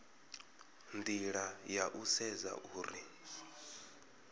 nila ya u sedza uri